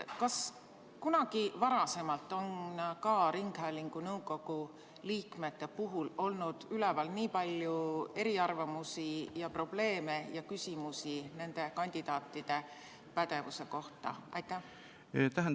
Kas kunagi varem on ka ringhäälingu nõukogu liikmete puhul olnud üleval nii palju eriarvamusi ja probleeme ning küsimusi nende kandidaatide pädevuse kohta?